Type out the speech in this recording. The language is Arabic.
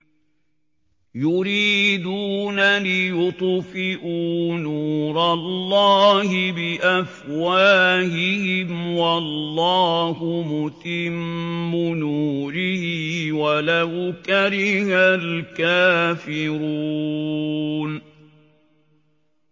يُرِيدُونَ لِيُطْفِئُوا نُورَ اللَّهِ بِأَفْوَاهِهِمْ وَاللَّهُ مُتِمُّ نُورِهِ وَلَوْ كَرِهَ الْكَافِرُونَ